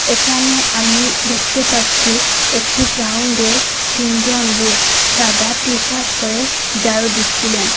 এখানে আমি দেখতে পাচ্ছি একটি গাউন্ডে তিনজন লোক সাদা টি-শার্ট পড়ে জারু দিচ্ছিলেন।